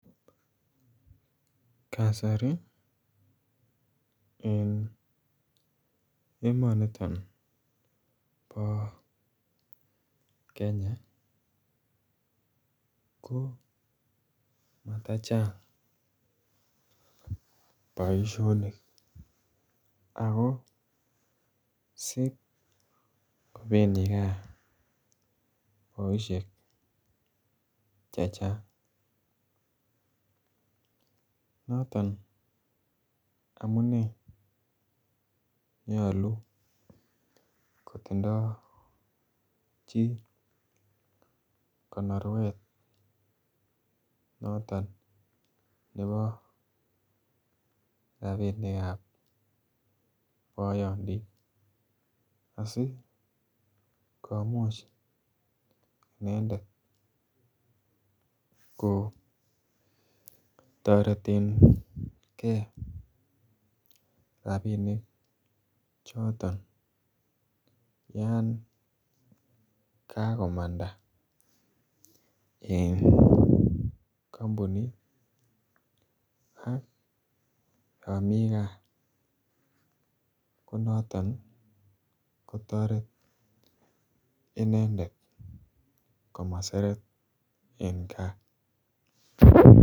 Kasari eng emani nitoon bo kenya ko matachaang boisionik ako siip kobendii kaa boisiek che chaang noton amunei nyaluu kotindoi chii konorweet notoon nebo rapinik ab boyondit asikomuuch inendet ko tareten rapinik chotoon yaan kagokomandaa eng kampunit ak yaan Mii kaa ko notoon ko taretii inendet komaseret eng gaah.